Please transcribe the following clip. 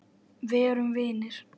Verum vinir.